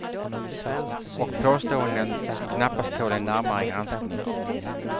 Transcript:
Och påståenden, som knappast tål en närmare granskning.